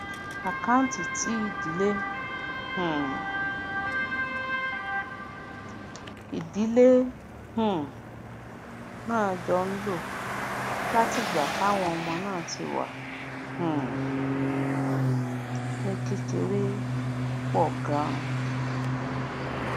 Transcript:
àkáǹtì tí ìdílé um ìdílé um náà jọ ń lò látìgbà táwọn ọmọ náà ti wà um ní kékeré pò ganan